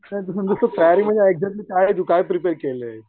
तयारी म्हणजे एक्झॅक्ट तू काय प्रीप्रेअर केलंय?